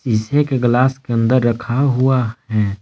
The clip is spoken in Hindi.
जिसमें के ग्लास के अंदर रखा हुआ हैं।